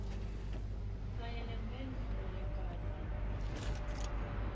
kanye nemphendvulo lebhalwe